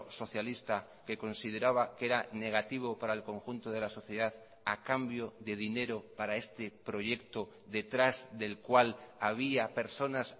socialista que consideraba que era negativo para el conjunto de la sociedad ha cambio de dinero para este proyecto detrás del cual había personas